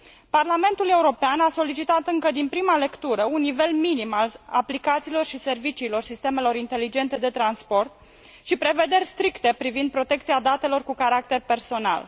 Parlamentul European a solicitat încă din prima lectură un nivel minim al aplicațiilor și serviciilor sistemelor inteligente de transport și prevederi stricte privind protecția datelor cu caracter personal.